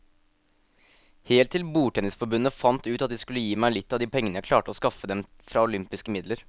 Helt til bordtennisforbundet fant ut at de skulle gi meg litt av de pengene jeg klarte å skaffe dem fra olympiske midler.